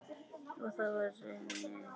Og það var raunin.